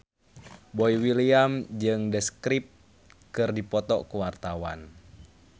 Boy William jeung The Script keur dipoto ku wartawan